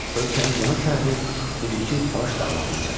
Ölkənin cənub sərhədi indiki Talış dağlarına çatırdı.